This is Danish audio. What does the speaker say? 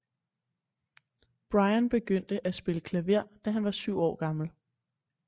Bryan begyndte at spille klaver da han var syv år gammel